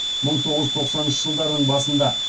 мың тоғыз жүз тоқсаныншы жылдардың басында